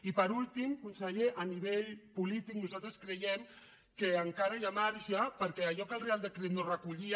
i per últim conseller a nivell polític nosaltres creiem que encara hi ha marge perquè allò que el reial decret no recollia